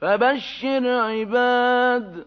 فَبَشِّرْ عِبَادِ